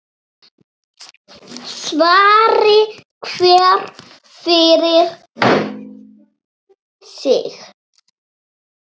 Svari hver fyrir sig.